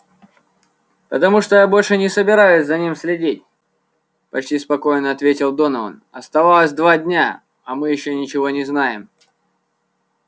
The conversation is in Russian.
потому что я больше не собираюсь за ним следить почти спокойно ответил донован осталось два дня а мы ещё ничего не знаем